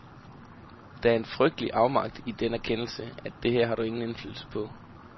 Der er en frygtelig afmagt i den erkendelse, at det her har du ingen indflydelse på.